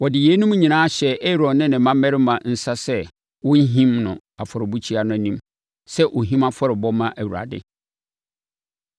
Wɔde yeinom nyinaa hyɛɛ Aaron ne ne mmammarima nsa sɛ wɔnhim no afɔrebukyia no anim sɛ ɔhim afɔrebɔ mma Awurade.